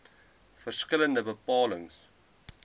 verskil lende bepalings